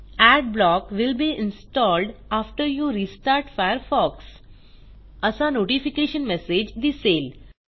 Adblock will be installed after you restart Firefox असा notification message दिसेल